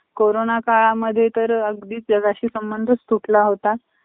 Corona काळात तर अगदी जगाशी संबंध तुटला होता.